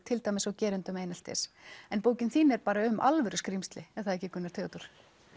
til dæmis á gerendum eineltis en bókin þín er bara um alvöru skrímsli er það ekki Gunnar Theodór